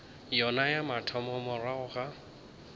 yona ya mathomo morago ga